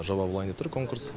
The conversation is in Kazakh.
жоба болайын деп тұр конкурс